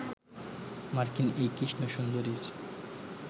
মার্কিন এই কৃষ্ণ সুন্দরী